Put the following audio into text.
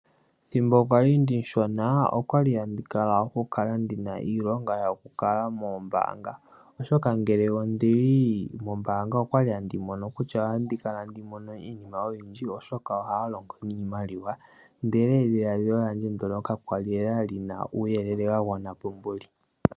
Ethimbo ndali omushona, okwali handi kala ndahala iilonga yoku ka longa moombaanga oshoka ngele ondili mombaanga okwali handi mono kutya otandi kala tandi mono iinima oyindji oshoka ohaya longo niimaliwa, ndele edhiladhilo ndono kakwali nee li na uuyelele wa gwana po nani.